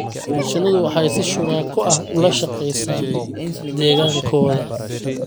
Shinnidu waxay si shuraako ah ula shaqeysaa deegaankooda.